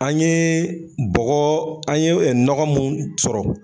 An yee bɔgɔ an ye nɔgɔ munnu sɔrɔ